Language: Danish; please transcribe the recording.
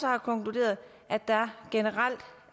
har konkluderet at der generelt